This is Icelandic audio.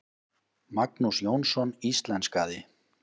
Magnús Jónsson íslenskaði.